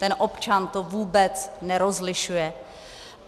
Ten občan to vůbec nerozlišuje.